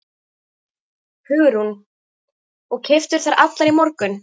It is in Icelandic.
Hugrún: Og keyptirðu þær allar í morgun?